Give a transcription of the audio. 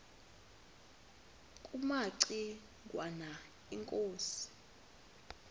kumaci ngwana inkosi